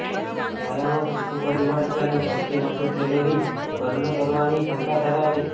વ્યાયામ ચોથું પરિબળ છે અને સૌથી વધુ કેલરી બર્ન કરવાની ક્ષમતા ધરાવે છે